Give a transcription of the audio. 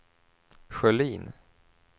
Sjölin